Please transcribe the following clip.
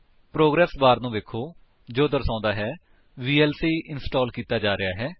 progress bar ਨੂੰ ਵੇਖੋ ਜੋ ਦਰਸ਼ਾਂਦਾ ਹੈ ਕਿ ਵੀਐਲਸੀ ਇੰਸਟਾਲ ਕੀਤਾ ਜਾ ਰਿਹਾ ਹੈ